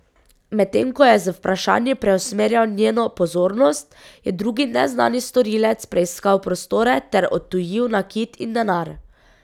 Medtem ko je z vprašanji preusmerjal njeno pozornost, je drugi neznani storilec preiskal prostore ter odtujil nakit in denar.